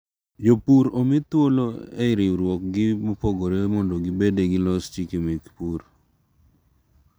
Jopur omi thuolo ei riwruok gi mopogore mondo gibede gilos chike mek pur.